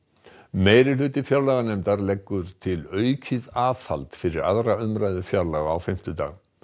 meirihluti fjárlaganefndar leggur til aukið aðhald fyrir aðra umræðu fjárlaga á fimmtudag